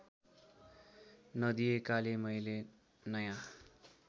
नदिएकाले मैले नयाँ